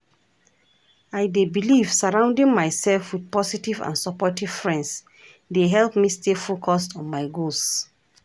I dey believe surrounding myself with positive and supportive friends dey help me stay focused on my goals.